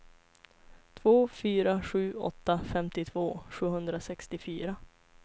två fyra sju åtta femtiotvå sjuhundrasextiofyra